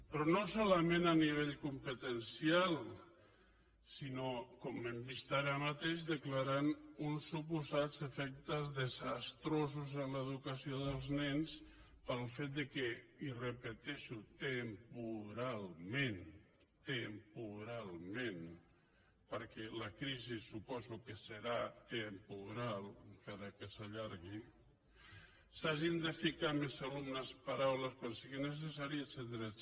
però no solament a nivell competencial sinó com hem vist ara mateix declarant uns suposats efectes desastrosos en l’educació dels nens pel fet que i ho repeteixo temporalment temporalment perquè la crisi suposo que serà temporal encara que s’allargui s’hagin de ficar més alumnes per aula quan sigui necessari etcètera